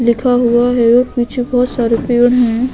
लिखा हुआ है और पीछे बहुत सारे पेयर है।